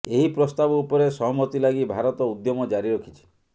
ଏହି ପ୍ରସ୍ତାବ ଉପରେ ସହମତି ଲାଗି ଭାରତ ଉଦ୍ୟମ ଜାରି ରଖିଛି